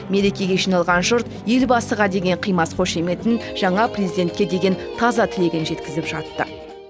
мерекеге жиналған жұрт елбасыға деген қимас қошеметін жаңа президентке деген таза тілегін жеткізіп жатты